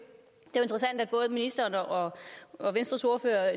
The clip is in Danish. interessant at både ministeren og og venstres ordfører